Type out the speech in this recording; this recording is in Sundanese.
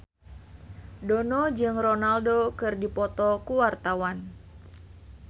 Dono jeung Ronaldo keur dipoto ku wartawan